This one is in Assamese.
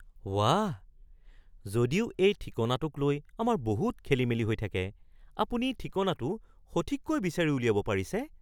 ৱাঃ! যদিও এই ঠিকনাটোকলৈ আমাৰ বহুত খেলি-মেলি হৈ থাকে, আপুনি ঠিকনাটো সঠিককৈ বিচাৰি উলিয়াব পাৰিছে!